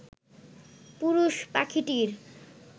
পুরুষ পাখিটির